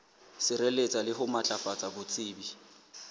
sireletsa le ho matlafatsa botsebi